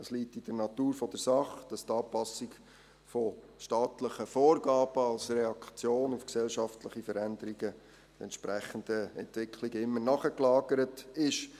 Es liegt in der Natur der Sache, dass die Anpassung von staatlichen Vorgaben als Reaktion auf entsprechende Entwicklungen gesellschaftlicher Veränderungen immer nachgelagert ist.